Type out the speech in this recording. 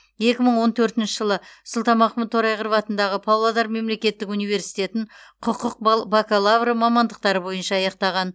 екі мың он төртінші жылы сұлтанмахмұт торайғыров атындағы павлодар мемлекеттік университетін құқық бал бакалавры мамандықтары бойынша аяқтаған